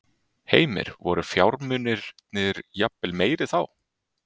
Heimir: Voru fjármunirnir jafnvel meiri þá?